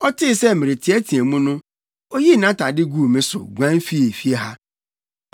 Ɔtee sɛ mereteɛteɛ mu no, oyii nʼatade guu me so, guan fii fie ha.”